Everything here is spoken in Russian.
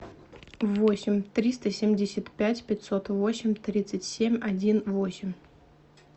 восемь триста семьдесят пять пятьсот восемь тридцать семь один восемь